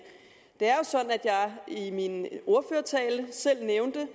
det er jeg i min ordførertale selv nævnte